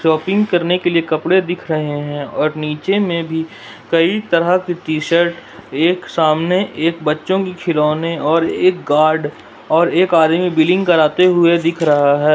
Shopping करने के लिए कपड़े दिख रहे हैं और नीचे में भी कई तरह के टी_शर्ट एक सामने एक बच्चों की खिलौने और एक गार्ड और एक आदमी बिलिंग कराते हुए दिख रहा है।